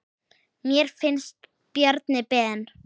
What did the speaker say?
Mér finnst Bjarni Ben.